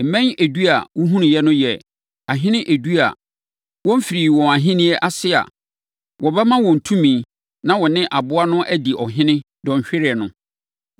“Mmɛn edu a wohunuiɛ no yɛ ahene edu a wɔmfirii wɔn ahennie ase a wɔbɛma wɔn tumi na wɔne aboa no adi ɔhene dɔnhwereɛ no.